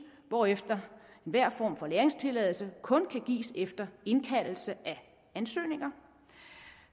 hvorefter enhver form for lagringstilladelse kun kan gives efter indkaldelse af ansøgninger